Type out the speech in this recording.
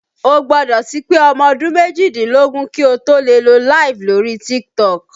O gbọ́dọ̀ ti pé ọmọ ọdún méjìdínlógún kí o tó lè lọ LIVE lórí Tiktok